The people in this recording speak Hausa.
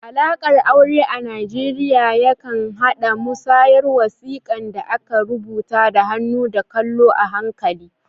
Alaƙar aure a Najeriya yakan haɗa da musayar wasiƙun da aka rubuta da hannu da kallo a hankali